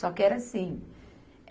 Só que era assim.